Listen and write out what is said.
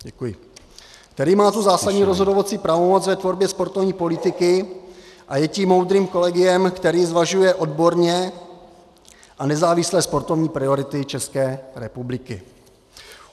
Který má tu zásadní rozhodovací pravomoc v tvorbě sportovní politiky a je tím moudrým kolegiem, které zvažuje odborně a nezávisle sportovní priority České republiky.